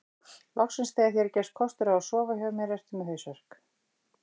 Loksins þegar þér gefst kostur á að sofa hjá mér ertu með hausverk